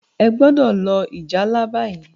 o gbódò lo ìjálá bayi!